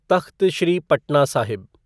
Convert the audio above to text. Takht Shri Patna Sahib